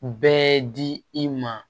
Bɛɛ di i ma